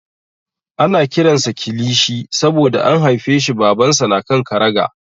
Ana kiran sa Kilishi saboda an haifeshi Babansa na kan karagar.